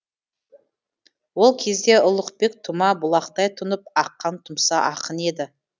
ол кезде ұлықбек тұма бұлақтай тұнып аққан тұмса ақын еді